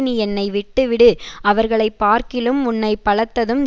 நீ என்னை விட்டுவிடு அவர்களைப்பார்க்கிலும் உன்னை பலத்ததும்